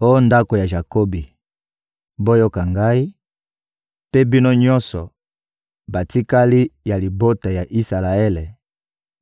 Oh ndako ya Jakobi, boyoka Ngai, mpe bino nyonso, batikali ya libota ya Isalaele,